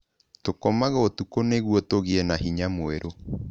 Tũkomaga ũtukũ nĩguo tũgĩe na hinya mwerũ.